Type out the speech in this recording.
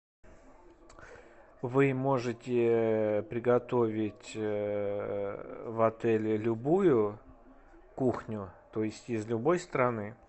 вы можете приготовить в отеле любую кухню то есть из любой страны